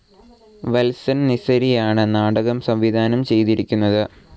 വത്സൻ നിസരിയാണ് നാടകം സംവിധാനം ചെയ്തിരിക്കുന്നത്.